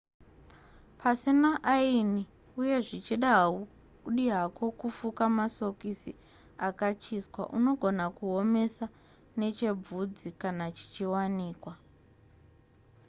pasina aini uye zvichida haudi hako kufuka masokisi akachiswa unogona kuomesa nechebvudzi kana chichiwanikwa